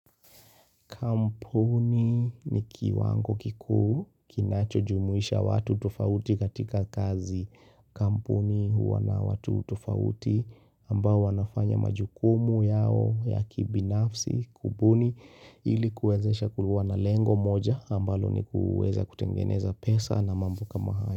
Kampuni ni kiwango kikuu kinacho jumuisha watu tofauti katika kazi. Kampuni huwa na watu tofauti ambao wanafanya majukumu yao ya kibinafsi kubuni ilikuwezesha kuwa na lengo moja ambalo ni kuweza kutengeneza pesa na mambo kama hayo.